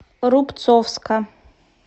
рубцовска